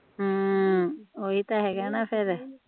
ਹਮ ਓਹੀ ਤਾ ਹੇਗਾ ਫੇਰ